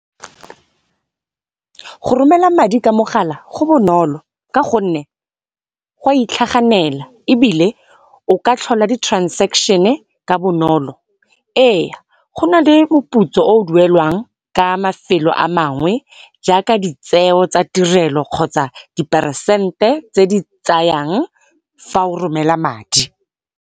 Go romela madi ka mogala go bonolo ka gonne, go a itlhaganela ebile o ka tlhola ditransekeshene ka bonolo. Ee go na le moputso oo duelwang ka mefelo amangwe, jaaka ditseo tsa tirelo kgotsa diperesente tse di tsayang fa o romela madi.